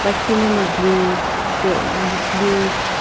lakhi nana blue sh wh blue.